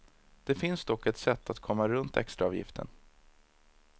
Det finns dock ett sätt att komma runt extraavgiften.